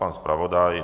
Pan zpravodaj?